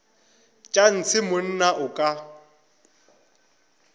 tša ntshe monna o ka